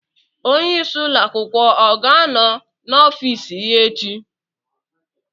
Onyeisi ụlọ akwụkwọ ọ ga-anọ n'ọfiisi ya echi?